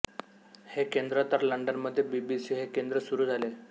हे केंद्र तर लंडनमध्ये बी बी सी हे केंद्र सुरू झाले